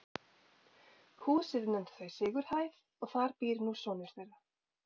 Húsið nefndu þau Sigurhæð og þar býr nú sonur þeirra